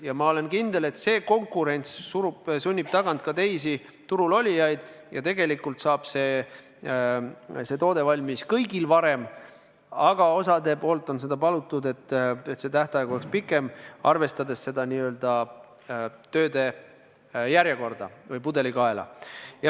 Ja ma olen kindel, et see konkurents sunnib tagant ka teisi turul olijaid ja tegelikult saab see toode valmis kõigil varem, aga osa asjaosalisi on palunud, et see tähtaeg oleks pikem, arvestades tööde järjekorda või pudelikaela.